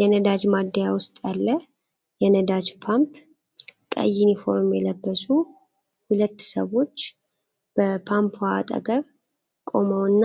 የነዳጅ ማደያ ውስጥ ያለ የነዳጅ ፓምፕ ። ቀይ ዩኒፎርም የለበሱ ሁለት ሰዎች በፓምፑ አጠገብ ቆመውና